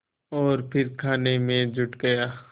और फिर खाने में जुट गया